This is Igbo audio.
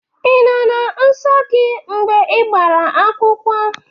I nọ na nso gị mgbe igbara akwụkwọ?